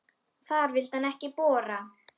Þar vildi hann ekki bora.